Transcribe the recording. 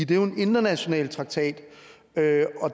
det er jo en international traktat